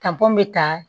n bɛ taa